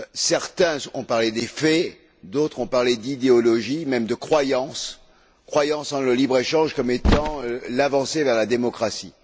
Certains ont parlé des faits, d'autres ont parlé d'idéologie, même de croyance, croyance dans le libre échange comme étant l'avancée vers la démocratie.